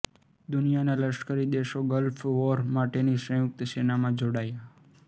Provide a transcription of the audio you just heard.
દુનિયાના લશ્કરી દેશો ગલ્ફ વોર માટેની સંયુક્ત સેનામાં જોડાયા